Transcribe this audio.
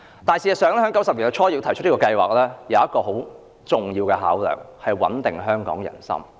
不過，事實上，在1990年代初提出這項計劃有一個很重要的考量，就是要穩定香港人心。